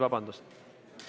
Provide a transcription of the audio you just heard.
Vabandust!